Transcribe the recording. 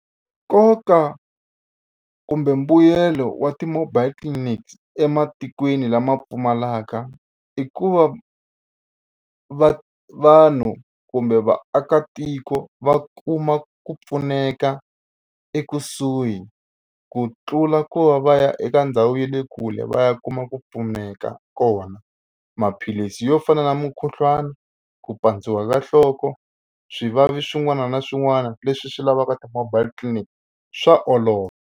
Nkoka kumbe mbuyelo wa ti-mobile clinics ematikweni lama pfumalaka i ku va va vanhu kumbe vaakatiko va kuma ku pfuneka ekusuhi ku tlula ku va va ya eka ndhawu ya le kule va ya kuma ku pfuneka kona. Maphilisi yo fana na mukhuhlwani ku pandziwa ka nhloko swivavi swin'wana na swin'wana leswi swi lavaka ti-mobile clinic swa olova.